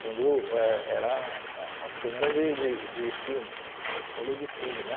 Quando eh era uma câmera de de de filme, rolo de filme, né?